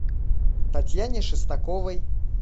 татьяне шестаковой